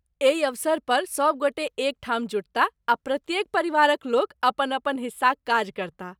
एहि अवसर पर सब गोटे एकठाम जुटताह आ प्रत्येक परिवारक लोक अपन अपन हिस्साक काज करताह।